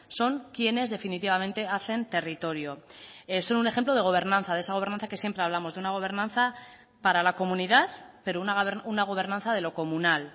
son quienes definitivamente hacen territorio son un ejemplo de gobernanza de esa gobernanza que siempre hablamos de una gobernanza para la comunidad pero una gobernanza de lo comunal